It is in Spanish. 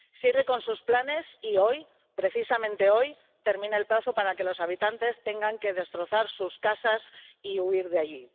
Sigue con sus planes y hoy, precisamente hoy, termina el plazo para que los habitantes tengan que destrozar sus casas y huir de allí.